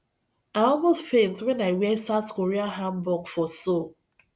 i almost faint wen i wear south korea hanbok for seoul